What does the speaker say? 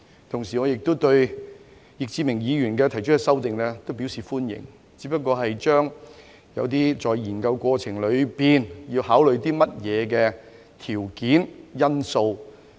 同時，我亦對易志明議員提出的修正案表示歡迎，只是更為豐富一些在研究過程裏要考慮的條件和因素。